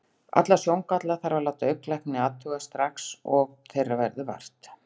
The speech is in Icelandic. Alla sjóngalla þarf að láta augnlækni athuga, strax og þeirra verður vart.